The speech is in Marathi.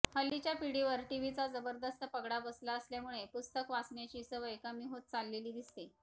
हल्लीच्या पिढीवर टीव्हीचा जबरदस्त पगडा बसला असल्यामुळे पुस्तक वाचण्याची सवय कमी होत चाललेली दिसते